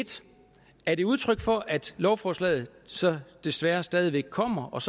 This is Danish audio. er det udtryk for at lovforslaget desværre stadig væk kommer og